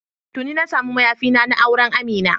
Tuni na samu mayafina na, na auren Amina.